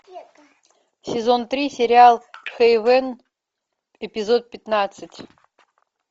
сезон три сериал хейвен эпизод пятнадцать